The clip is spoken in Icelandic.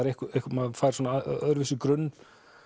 maður fær svona öðruvísi grunn